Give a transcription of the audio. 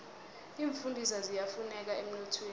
iimfundiswa ziyafuneka emnothweni